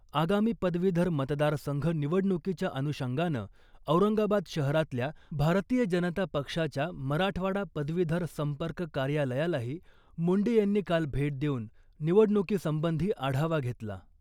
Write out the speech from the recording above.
आगामी पदवीधर मतदार संघ निवडणुकीच्या अनुषंगानं औरंगाबाद शहरातल्या भारतीय जनता पक्षाच्या मराठवाडा पदवीधर संपर्क कार्यालयालाही मुंडे यांनी काल भेट देऊन निवडणुकीसंबंधी आढावा घेतला .